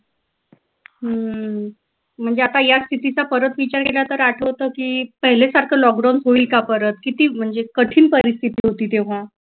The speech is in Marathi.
हम्म म्हणजे आता या स्थितीचा परत विचार केला तर आठवत की पहिले सारखं लॉकडाऊन होईल का परत किती म्हणजे कठीण परिस्तिथी होती तेव्हा